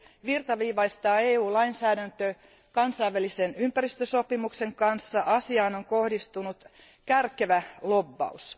virtaviivaistaa EUn lainsäädäntö kansainvälisen ympäristösopimuksen kanssa, on asiaan kohdistunut kärkevä lobbaus.